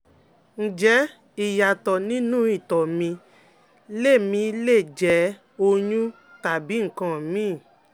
Ǹjẹ́ ìyàtọ̀ nínú ìtọ̀ mi le mi le jẹ́ oyún tàbí nǹkan míìn?